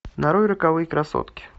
нарой роковые красотки